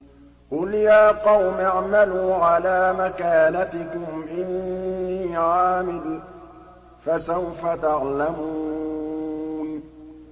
قُلْ يَا قَوْمِ اعْمَلُوا عَلَىٰ مَكَانَتِكُمْ إِنِّي عَامِلٌ ۖ فَسَوْفَ تَعْلَمُونَ